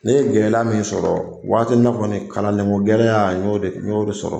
Ne ye gɛlɛya min sɔrɔ waati na kɔni kalanlenko gɛlɛya n y'o de sɔrɔ